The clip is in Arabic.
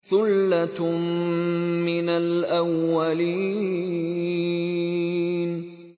ثُلَّةٌ مِّنَ الْأَوَّلِينَ